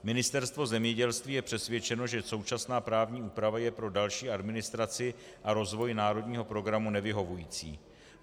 Ministerstvo zemědělství je přesvědčeno, že současná právní úprava je pro další administraci a rozvoj národního programu nevyhovující.